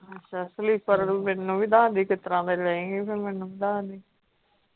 ਅੱਛਾ slipper ਮੈਨੂੰ ਵੀ ਦੱਸ ਦੀ ਕਿਤਰਾਂ ਦੇ ਲਏਂਗੀ ਫਿਰ ਮੈਨੂੰ ਵੀ ਦੱਸ ਦੀ।